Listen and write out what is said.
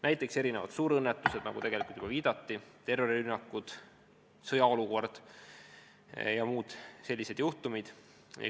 Näiteks erinevad suurõnnetused, nagu juba viidati, terrorirünnakud, sõjaolukord ja muud sellised juhtumid.